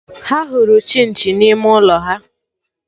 Ha hụrụ Chinchi na ime ụlọ ha